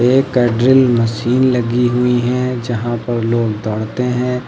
ये कैंड्रिल मशीन लगी हुई है जहां पर लोग दौड़ते हैं।